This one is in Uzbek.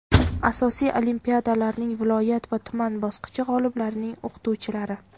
asosiy olimpiadalarning viloyat va tuman bosqichi g‘oliblarining o‘qituvchilari;.